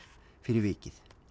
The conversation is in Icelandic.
fyrir vikið